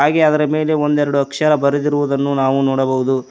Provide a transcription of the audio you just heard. ಹಾಗೆ ಅದರ ಮೇಲೆ ಒಂದೆರಡು ಅಕ್ಷರ ಬರೆದಿರುವುದನ್ನು ನಾವು ನೋಡಬಹುದು.